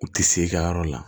U tɛ se i ka yɔrɔ la